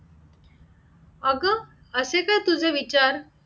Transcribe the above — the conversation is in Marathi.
अगं असे काय तुझे विचार?